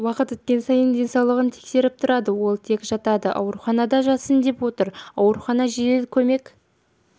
уақыт өткен сайын денсаулығын тексеріп тұрады ол тек жатады ауруханада жатсын деп отыр аурухана жедел көмек